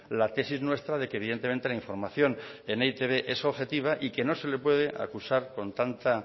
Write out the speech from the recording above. la tesis nuestra de que evidentemente la información en e i te be es objetiva y que no se le puede acusar con tanta